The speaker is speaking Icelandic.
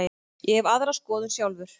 Ég hef aðra skoðun sjálfur.